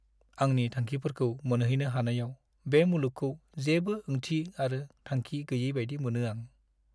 आंनि थांखिफोरखौ मोनहैनो हानायाव बे मुलुगखौ जेबो ओंथि आरो थांखि गैयै बायदि मोनो आं।